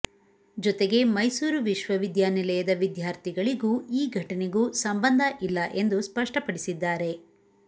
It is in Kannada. ಜೊತೆಗೆ ಮೈಸೂರು ವಿಶ್ವವಿದ್ಯಾನಿಲಯದ ವಿದ್ಯಾರ್ಥಿಗಳಿಗೂ ಈ ಘಟನೆಗೂ ಸಂಬಂಧ ಇಲ್ಲ ಎಂದು ಸ್ಪಷ್ಟಪಡಿಸಿದ್ದಾರೆ